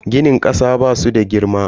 Ginin kasa basu da girma.